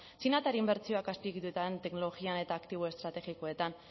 txinatar inbertsioak azpiegituran teknologian eta aktibo estrategikoetan